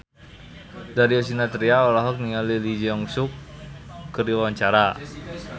Darius Sinathrya olohok ningali Lee Jeong Suk keur diwawancara